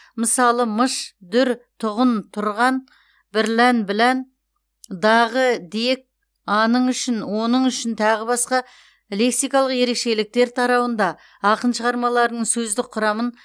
мысалы мыш дүр тұғын тұрған бірлән білән дағы дек аның үшін оның үшін тағы басқа лексикалық ерекшеліктер тарауында ақын шығармаларының сөздік құрамын